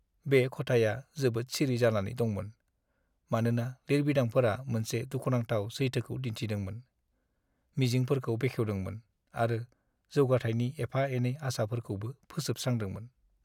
बे खथाया जोबोद सिरि जानानै दंमोन, मानोना लिरबिदांफोरा मोनसे दुखुनांथाव सैथोखौ दिन्थिदोंमोन, मिजिंफोरखौ बेखेवदोंमोन आरो जौगाथायनि एफा-एनै आसाफोरखौबो फोजोबस्रांदोंमोन।